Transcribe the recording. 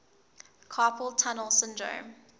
carpal tunnel syndrome